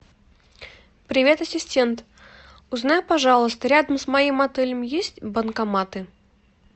привет ассистент узнай пожалуйста рядом с моим отелем есть банкоматы